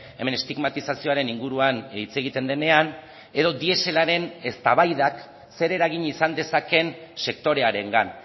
hemen estigmatizazioaren inguruan hitz egiten denean edo dieselaren eztabaidak zer eragin izan dezakeen sektorearengan